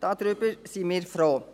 Darüber sind wir froh.